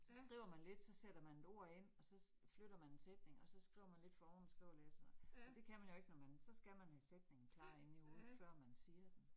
Så skriver man lidt, så sætter man et ord ind, og så flytter man en sætning, og skriver man lidt for oven, skriver lidt og sådan noget, og det kan man jo ikke, når man, så skal man have sætningen klar inde i hovedet før man siger den